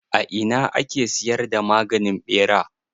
A ina a ke siyar da maganin ɓera?